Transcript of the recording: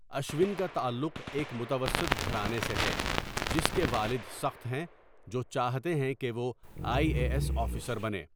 اشون کا تعلق ایک متوسط گھرانے سے ہے جس کے والد سخت ہیں جو چاہتے ہیں کہ وہ آئی اے ایس آفیسر بنے۔